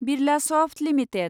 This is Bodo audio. बिरलासफ्ट लिमिटेड